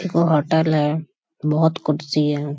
एगो होटल है बहुत कुर्सी है।